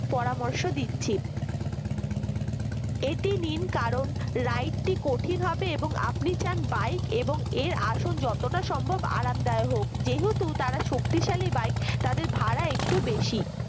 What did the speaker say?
পরামর্শ দিচ্ছি এটি নিন কারণ ride টি কঠিন হবে এবং আপনি চান bike এর আসল যতটা সম্ভব আরামদায়ক হোক যেহেতু তারা শক্তিশালী bike তাদের ভাড়া একটু বেশি